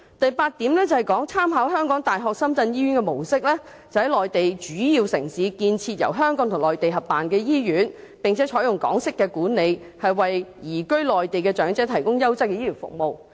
第八項是"參考香港大學深圳醫院的模式，在內地主要城市建設由香港及內地合辦的醫院，並採用港式管理，共同為移居內地的長者提供優質醫療服務"。